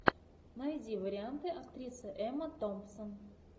найди варианты актриса эмма томпсон